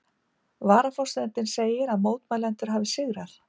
Varaforsetinn segir að mótmælendur hafi sigrað